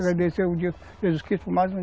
Agradecer o dia de Jesus Cristo por mais um